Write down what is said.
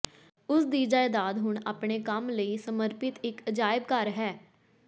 ਉਸ ਦੀ ਜਾਇਦਾਦ ਹੁਣ ਆਪਣੇ ਕੰਮ ਲਈ ਸਮਰਪਿਤ ਇਕ ਅਜਾਇਬ ਘਰ ਹੈ